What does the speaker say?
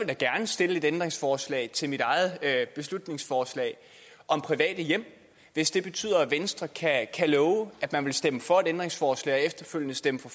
da gerne stille et ændringsforslag til mit eget beslutningsforslag om private hjem hvis det betyder at venstre kan love at man vil stemme for et ændringsforslag og efterfølgende stemme for